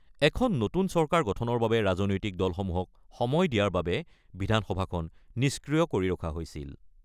এখন নতুন চৰকাৰ গঠনৰ বাবে ৰাজনৈতিক দলসমূহক সময় দিয়াৰ বাবে বিধানসভাখন নিষ্ক্ৰিয় কৰি ৰখা হৈছিল।